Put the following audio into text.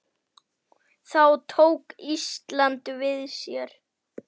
Þá tók Ísland við sér.